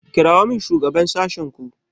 kirawo min shugaban sashenku.